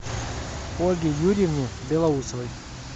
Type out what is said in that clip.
ольге юрьевне белоусовой